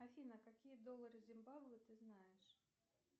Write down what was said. афина какие доллары зимбабве ты знаешь